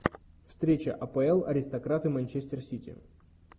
встреча апл аристократы манчестер сити